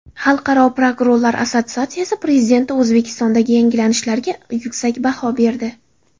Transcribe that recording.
Xalqaro prokurorlar assotsiatsiyasi prezidenti O‘zbekistondagi yangilanishlarga yuksak baho berdi.